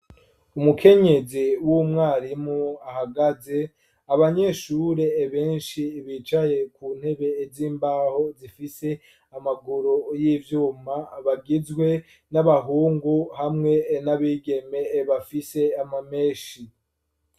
Umukenyezi w'umwarimu ahagaze, abanyeshure benshi bicaye ku ntebe z'imbaho zifise amaguru y'ivyuma, bagizwe n'abahungu hamwe n'abigeme bafise ama menshi.